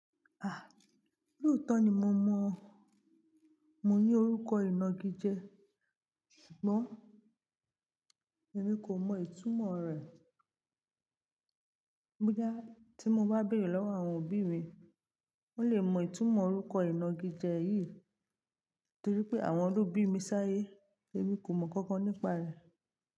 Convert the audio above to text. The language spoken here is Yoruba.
Ah! Lòótọ́ ni mo mọ̀ ọ́n. Mo ní orúkọ ìnagijẹ ṣùgbọ́n èmi kò mọ ìtumọ̀ rẹ̀. Bóyá tí mo bá béèrè lọ́wọ́ àwọn òbí mi, wón lè mọ ìtumọ̀ orúkọ ìnagijẹ yìí torí wípé àwọn ló bí mi sáyé èmi kò mọ kankan nípa rẹ̀.